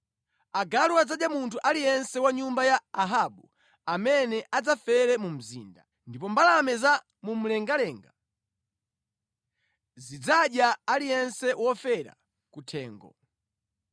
“Agalu adzadya munthu aliyense wa nyumba ya Ahabu amene adzafere mu mzinda, ndipo mbalame za mu mlengalenga zidzadya aliyense wofera ku thengo.”